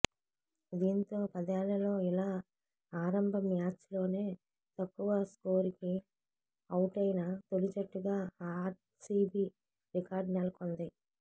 దీంతో పదేళ్లలో ఇలా ఆరంభ మ్యాచ్లోనే తక్కువ స్కోరుకి ఔటైన తొలి జట్టుగా ఆర్సీబీ రికార్డు నెలకొల్పింది